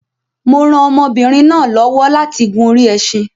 Mo rán ọmọbinrin náà lọ́wọ́ láti gùn orí ẹṣin